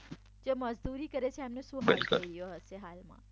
જે મજદૂરી કરે છે એમનો શું હાલ થઈ રહ્યો હશે બિલકુલ હાલમાં